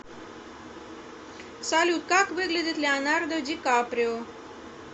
салют как выглядит леонардо ди каприо